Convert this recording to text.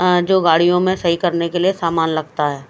अ जो गाड़ियों में सही करने के लिए सामान लगता है।